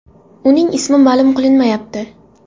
Uning ismi ma’lum qilinmayapti.